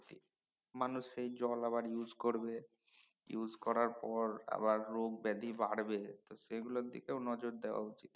মানুষ সে জল আবার use করবে করার পর আবার রোগ ব্যাধী বাড়বে তো সেগুলোর দিকে নজর দেওয়া উচিৎ